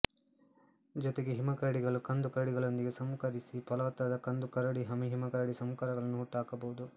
ಜೊತೆಗೆ ಹಿಮಕರಡಿಗಳು ಕಂದು ಕರಡಿಗಳೊಂದಿಗೆ ಸಂಕರೀಕರಿಸಿ ಫಲವತ್ತಾದ ಕಂದುಕರಡಿಹಿಮಕರಡಿ ಸಂಕರಗಳನ್ನು ಹುಟ್ಟುಹಾಕಬಹುದು